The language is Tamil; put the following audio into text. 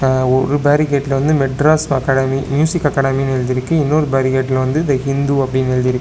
அ ஒரு பேரிகேட்டுல வந்து மெட்ராஸ் அகாடமி மியூசிக் அகாடமி எழுதியிருக்கு இன்னொரு பேரி கேட்டுல த இந்து அப்டினு எழுதியிருக்கு.